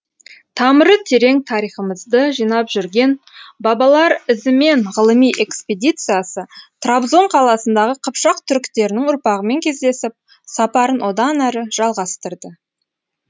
тамыры терең тарихымызды жинап жүрген бабалар ізімен ғылыми экспедициясы трабзон қаласындағы қыпшақ түріктерінің ұрпағымен кездесіп сапарын одан әрі жалғастырды